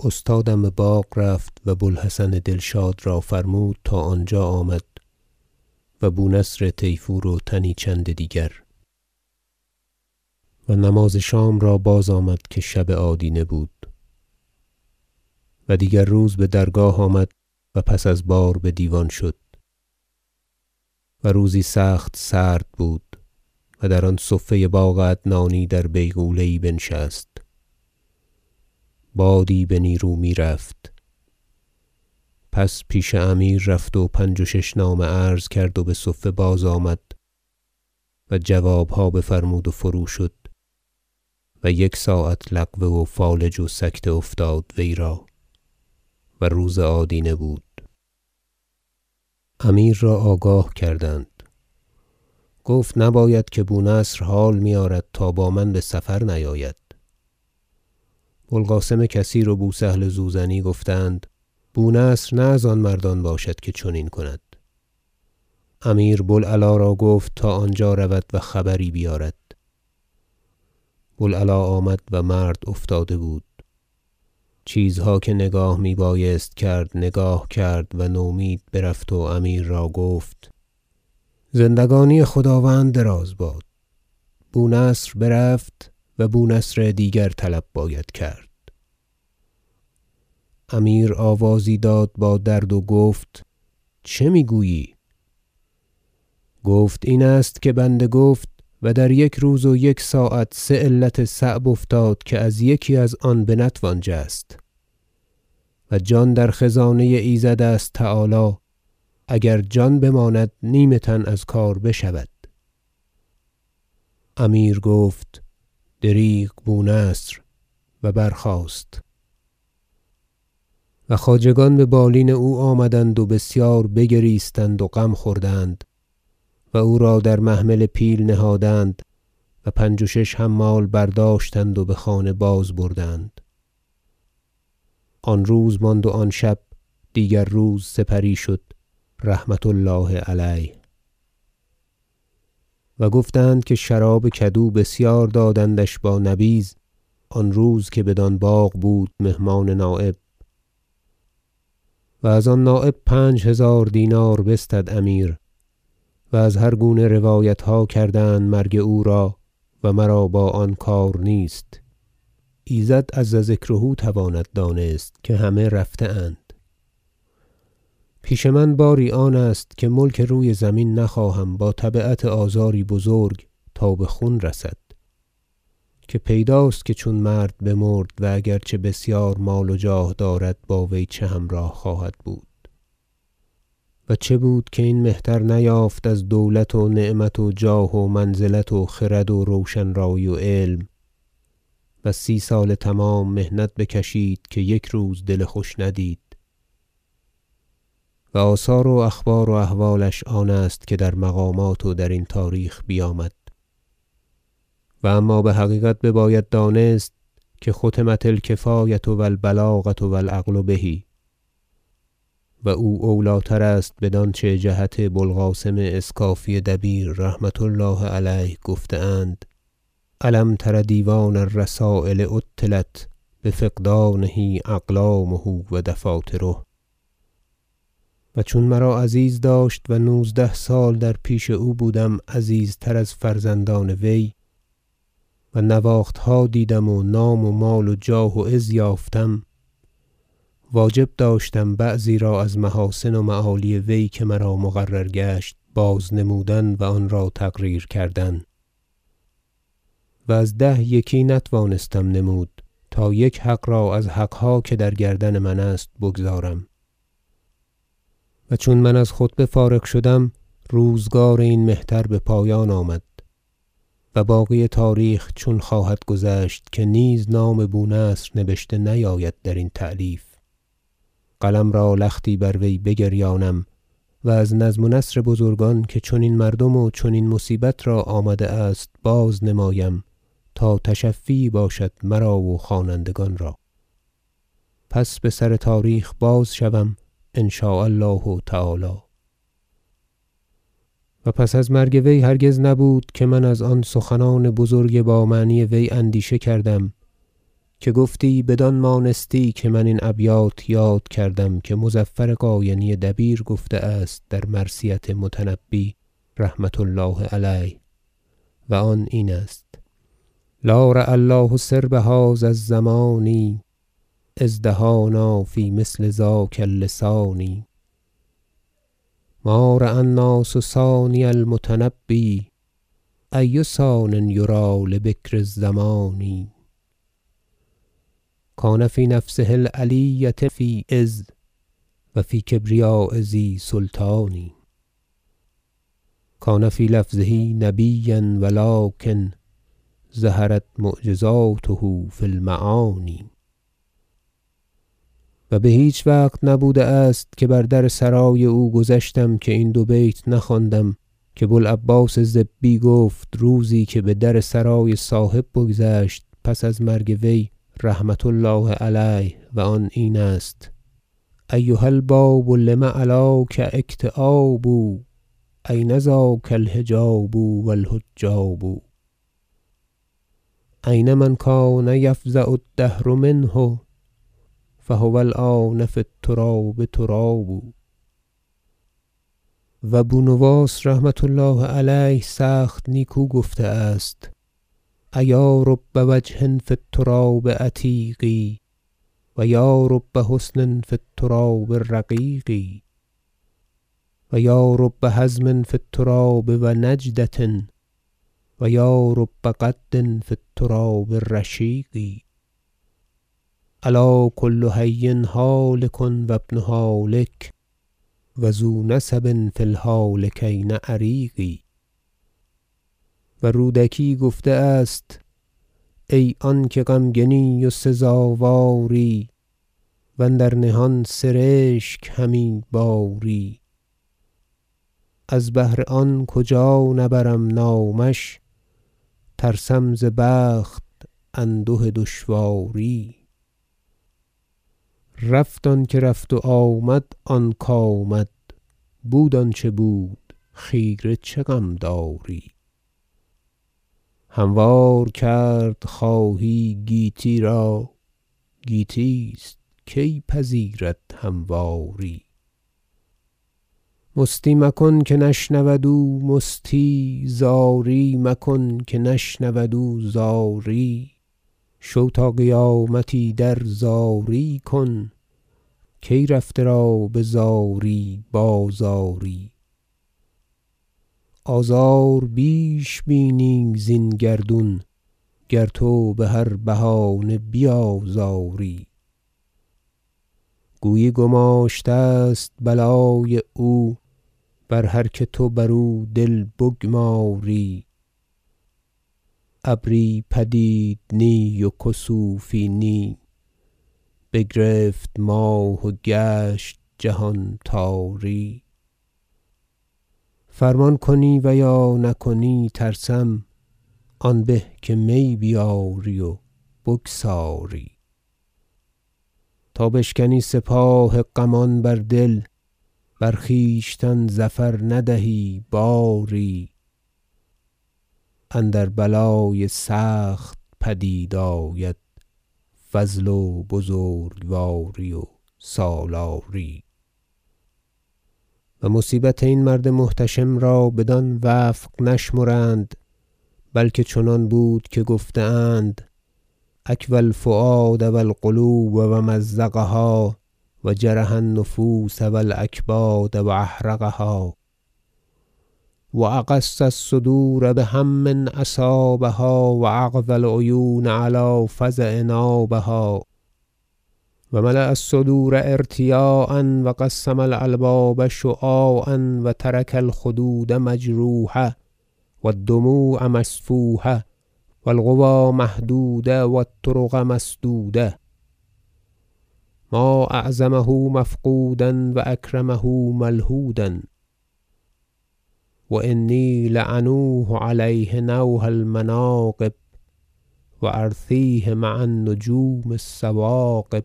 استادم بباغ رفت و بو الحسن دلشاد را فرمود تا آنجا آمد و بو نصر طیفور و تنی چند دیگر و نماز شام را بازآمد که شب آدینه بود و دیگر روز بدرگاه آمد و پس از بار بدیوان شد و روزی سخت سرد بود و در آن صفه باغ عدنانی در بیغوله بنشست بادی به نیرو میرفت پس پیش امیر رفت و پنج و شش نامه عرض کرد و بصفه بازآمد و جوابها بفرمود و فرو شد و یک ساعت لقوه و فالج و سکته افتاد وی را و روز آدینه بود امیر را آگاه کردند گفت نباید که بو نصر حال میآرد تا با من بسفر نیابد بو القاسم کثیر و بو سهل زوزنی گفتند بو نصر نه از آن مردان باشد که چنین کند امیر بو العلا را گفت تا آنجا رود و خبری بیارد بو العلا آمد و مرد افتاده بود چیزها که نگاه می بایست کرد نگاه کرد و نومید برفت و امیر را گفت زندگانی خداوند دراز باد بو نصر برفت و بو نصر دیگر طلب باید کرد امیر آوازی داد با درد و گفت چه میگویی گفت این است که بنده گفت و در یک روز و یک ساعت سه علت صعب افتاد که از یکی از آن بنتوان جست و جان در خزانه ایزد است تعالی اگر جان بماند نیم تن از کار بشود امیر گفت دریغ بو نصر و برخاست و خواجگان ببالین او آمدند و بسیار بگریستند و غم خوردند و او را در محمل پیل نهادند و پنج و شش حمال برداشتند و بخانه باز بردند آن روز ماند و آن شب دیگر روز سپری شد رحمة الله علیه و گفتند که شراب کدو بسیار دادندش با نبیذ آن روز که بدان باغ بود مهمان نایب از آن نایب پنج هزار دینار بستد امیر و از هرگونه روایتها کردند مرگ او را و مرا با آن کار نیست ایزد عز ذکره تواند دانست که همه رفته اند پیش من باری آنست که ملک روی زمین نخواهم با تبعت آزاری بزرگ تا بخون رسد که پیداست که چون مرد بمرد و اگر چه بسیار مال و جاه دارد با وی چه همراه خواهد بود و چه بود که این مهتر نیافت از دولت و نعمت و جاه و منزلت و خرد و روشن رایی و علم و سی سال تمام محنت بکشید که یک روز دل خوش ندید و آثار و اخبار و احوالش آن است که در مقامات و درین تاریخ بیامد و اما بحقیقت بباید دانست که ختمت الکفایة و البلاغة و العقل به و او اولی تر است بدانچه جهت بو القاسم اسکافی دبیر رحمة الله علیه گفته اند شعر الم تر دیوان الرسایل عطلت بفقدانه اقلامه و دفاتره و چون مرا عزیز داشت و نوزده سال در پیش او بودم عزیزتر از فرزندان وی و نواختها دیدم و نام و مال و جاه و عز یافتم واجب داشتم بعضی را از محاسن و معالی وی که مرا مقرر گشت باز نمودن و آن را تقریر کردن و از ده یکی نتوانستم نمود تا یک حق را از حقها که در گردن من است بگزارم و چون من از خطبه فارغ شدم روزگار این مهتر بپایان آمد و باقی تاریخ چون خواهد گذشت که نیز نام بو نصر نبشته نیاید درین تألیف قلم را لختی بر وی بگریانم و از نظم و نثر بزرگان که چنین مردم و چنین مصیبت را آمده است باز نمایم تا تشفی یی باشد مرا و خوانندگان را پس بسر تاریخ باز شوم ان شاء الله تعالی فصل و پس از مرگ وی هرگز نبود که من از آن سخنان بزرگ با معنی وی اندیشه کردم که گفتی بدان مانستی که من این ابیات یاد کردم که مظفر قاینی دبیر گفته است در مرثیت متنبی رحمة الله علیه و آن اینست شعر لا رعی الله سرب هذا الزمان اذ دهانا فی مثل ذاک اللسان ما رای الناس ثانی المتنبی ای ثان یری لبکر الزمان کان فی نفسه العلیة فی عز و فی کبریاء ذی سلطان کان فی لفظه نبیا و لکن ظهرت معجزاته فی المعانی و بهیچ وقت نبوده است که بر در سرای او گذشتم که این دو بیت نخواندم که بو العباس ضبی گفت روزی که بدر سرای صاحب بگذشت پس از مرگ وی رحمة الله علیه و آن این است شعر ایها الباب لم علاک اکتیاب این ذاک الحجاب و الحجاب این من کان یفزع الدهر منه فهو الآن فی التراب تراب و بو نواس رحمة الله علیه سخت نیکو گفته است شعر ایا رب وجه فی التراب عتیق و یا رب حسن فی التراب رقیق و یا رب حزم فی التراب و نجدة و یا رب قد فی التراب رشیق الا کل حی هالک و ابن هالک و ذو نسب فی الهالکین عریق و رودکی گفته است ای آنکه غمگنی و سزاواری و اندر نهان سرشک همی باری از بهر آن کجا نبرم نامش ترسم ز بخت انده دشواری رفت آنکه رفت و آمد آنک آمد بود آنچه بود خیره چه غم داری هموار کرد خواهی گیتی را گیتی است کی پذیرد همواری مستی مکن که نشنود او مستی زاری مکن که نشنود او زاری شو تا قیامت ایدر زاری کن کی رفته را بزاری باز آری آزار بیش بینی زین گردون گر تو بهر بهانه بیازاری گویی گماشته است بلای او بر هر که تو بر او دل بگماری ابری پدید نی و کسوفی نی بگرفت ماه و گشت جهان تاری فرمان کنی و یا نکنی ترسم آن به که می بیاری و بگساری تا بشکنی سپاه غمان بر دل بر خویشتن ظفر ندهی باری اندر بلای سخت پدید آید فضل و بزرگواری و سالاری و مصیبت این مرد محتشم را بدان وفق نشمرند بلکه چنان بود که گفته اند اکوی الفؤاد و القلوب و مزقها و جرح النفوس و الأکباد و احرقها و اغص الصدور بهم اصابها و اقذی العیون علی فزع نابها و ملأ الصدور ارتیاعا و قسم الألباب شعاعا و ترک الخدود مجروحة و الدموع مسفوحة و القوی مهدودة و الطرق مسدودة ما اعظمه مفقودا و اکرمه ملحودا و انی لا نوح علیه نوح المناقب و ارثیه مع النجوم الثواقب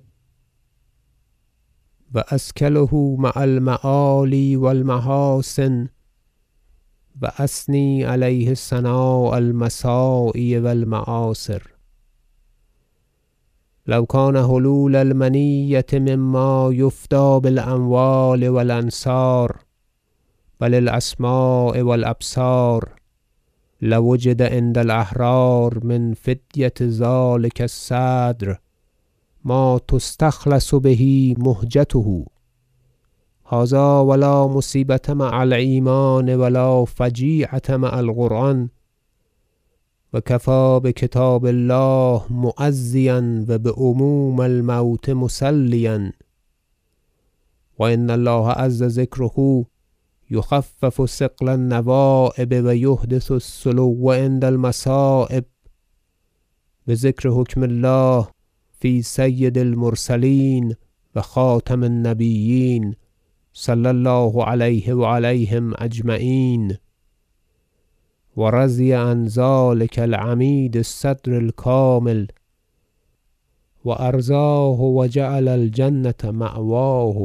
و اثکله مع المعالی و المحاسن و اثنی علیه ثناء المساعی و المآثر لو کان حلول المنیة مما یفدی بالأموال و الأنصار بل الأسماع و الأبصار لوجد عند الأحرار من فدیة ذلک الصدر ما تستخلص به مهجته هذا و لا مصیبة مع الایمان و لا فجیعة مع القرآن و کفی بکتاب الله معزیا و بعموم الموت مسلیا و ان الله عز ذکره یخفف ثقل النوایب و یحدث السلو عند المصایب بذکر حکم الله فی سید المرسلین و خاتم النبیین صلی الله علیه و علیهم اجمعین و رضی عن ذلک العمید الصدر الکامل و ارضاه و جعل الجنة مأواه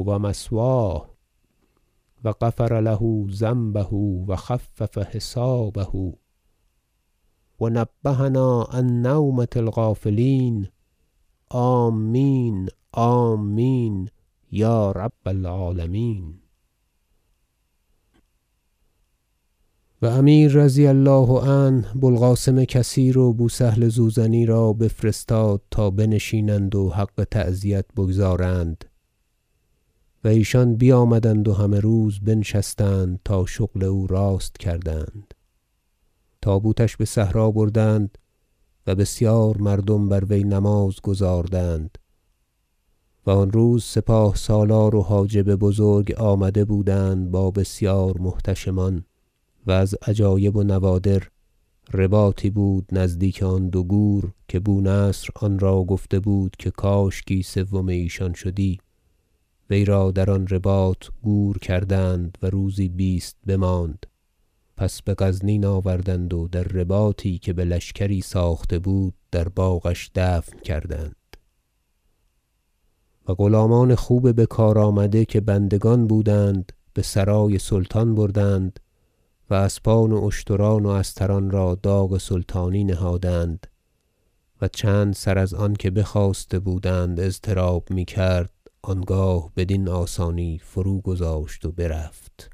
و مثواه و غفر له ذنبه و خفف حسابه و نبهنا عن نومة الغافلین آمین آمین یا رب العالمین و امیر رضی الله عنه بو القاسم کثیر و بو سهل زوزنی را بفرستاد تا بنشینند و حق تعزیت را بگزاردند و ایشان بیامدند و همه روز بنشستند تا شغل او راست کردند تابوتش بصحرا بردند و بسیار مردم بر وی نماز گزاردند و آن روز سپاه سالار و حاجب بزرگ آمده بودند با بسیار محتشمان و از عجایب و نوادر رباطی بود نزدیک آن دو گور که بو نصر آن را گفته بود که کاشکی سوم ایشان شدی وی را در آن رباط گور کردند و روزی بیست بماند پس بغزنین آوردند و در رباطی که بلشکری ساخته بود در باغش دفن کردند و غلامان خوب بکار آمده که بندگان بودند بسرای سلطان بردند و اسبان و اشتران و استران را داغ سلطانی نهادند و چند سر از آن که بخواسته بودند اضطراب میکرد آنگاه بدین آسانی فروگذاشت و برفت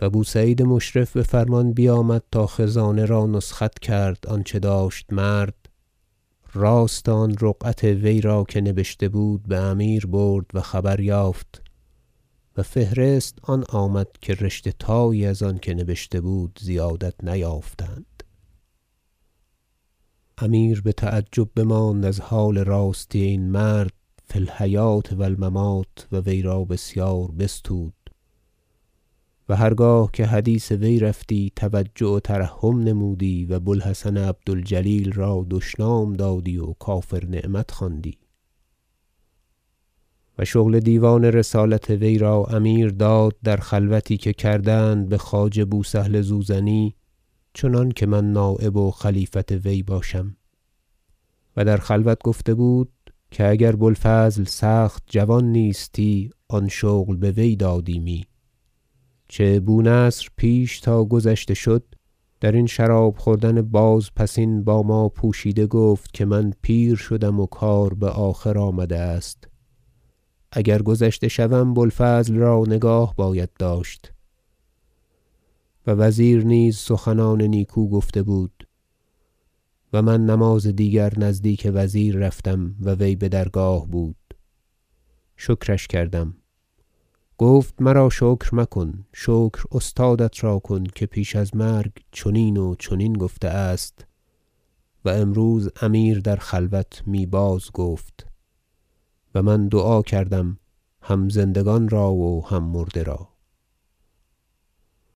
و بو سعید مشرف بفرمان بیامد تا خزانه را نسخت کرد آنچه داشت مرد راست آن رقعت وی را که نبشته بود بامیر برد و خبر یافت و فهرست آن آمد که رشته تایی از آنکه نبشته بود زیادت نیافتند امیر بتعجب بماند از حال راستی این مرد فی الحیوة و الممات و وی را بسیار بستود و هرگاه که حدیث وی رفتی توجع و ترحم نمودی و بو الحسن عبد الجلیل را دشنام دادی و کافر نعمت خواندی و شغل دیوان رسالت وی را امیر داد در خلوتی که کردند بخواجه بو سهل زوزنی چنانکه من نایب و خلیفت وی باشم و در خلوت گفته بود که اگر بو الفضل سخت جوان نیستی آن شغل بوی دادیمی چه بو نصر پیش تا گذشته شد درین شراب خوردن بازپسین با ما پوشیده گفت که من پیر شدم و کار بآخر آمده است اگر گذشته شوم بو الفضل را نگاه باید داشت و وزیر نیز سخنان نیکو گفته بود و من نماز دیگر نزدیک وزیر رفتم و وی بدرگاه بود شکرش کردم گفت مرا شکر مکن شکر استادت را کن که پیش از مرگ چنین و چنین گفته است و امروز امیر در خلوت می باز گفت و من دعا کردم هم زندگان را و هم مرده را